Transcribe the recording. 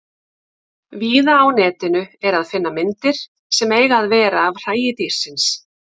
Víða á Netinu er að finna myndir sem eiga að vera af hræi dýrsins.